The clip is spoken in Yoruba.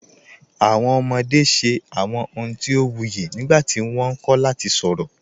Awọn ọmọde ṣẹ awọn ọ̀huǹ ti o wuyì nígbàtí wọ́n nkọ̀ lati sọ̀rọ.